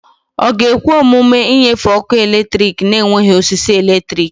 Ọ ga-ekwe omume ịnyefe ọkụ eletrik na-enweghị osisi eletrik?